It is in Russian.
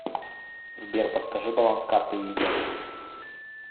сбер подскажи баланс карты виза